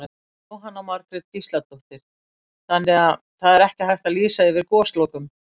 Jóhanna Margrét Gísladóttir: Þannig að það er ekki hægt að lýsa yfir goslokum?